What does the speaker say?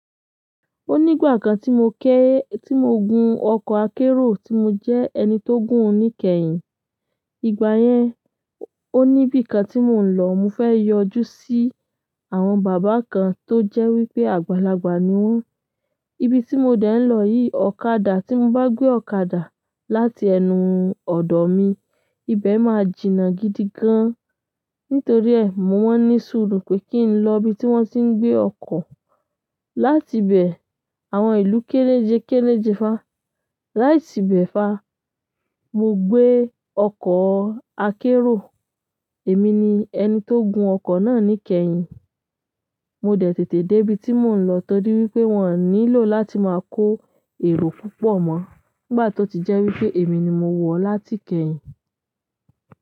Ó nígbà kan tí mo ké, tí mo gun ọkọ̀ akérò tí mo jẹ́ ẹni tó gùn ún ní kẹ́yìn. Ìgbà yẹn, ó níbi kan tí mò ń lọ, mo fẹ́ yọjú sí àwọn bàbá kan tó jẹ́ wípé àgbàlagbà ni wón. Ibi tí mo dẹ̀ ń lọ yìí, ọ̀kadà tí mo bá gbé ọ̀kadà láti ẹnu ọ̀dọ̀ mi, ibẹ̀ máa jìnà gidi gan. Nítorí ẹ, mo wọ́n ní sùúrù pé kí n lọ ibi tí wọ́n ti ń gbé ọkọ̀. Láti ibẹ̀, àwọn ìlú kẹ́lẹ́jẹkẹ́lẹ́jẹ fa. Láti ibẹ̀ fa, mo gbé ọkọ̀ akérò. Èmi ni ẹni tó gun ọkọ̀ náà ní kẹ́yìn. Mo dẹ̀ tètè dé ibi tí mò ń lọ torí wípé wọ́n nílò láti máa kó èrò púpọ̀ mọ́ nígbà tó ti jẹ́ wípé èmi ni mo wọ̀ láti kẹ́yìn.